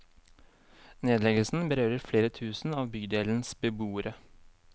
Nedleggelsen berører flere tusen av bydelens beboere.